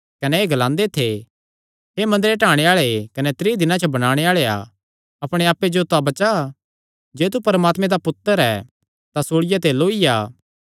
कने एह़ ग्लांदे थे हे मंदरे ढाणे आल़ेया कने त्रीं दिनां च बणाणे आल़ेया अपणे आप्पे जो तां बचा जे तू परमात्मे दा पुत्तर ऐ तां सूल़िया ते लौई आ